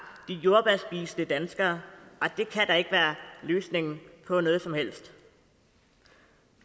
de jordbærspisende danskere og det kan da ikke være løsningen på noget som helst